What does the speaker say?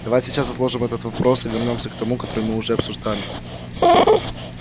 давай сейчас отложим этот вопрос и вернёмся к тому который мы уже обсуждали